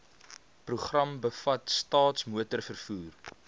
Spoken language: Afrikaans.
program bevat staatsmotorvervoer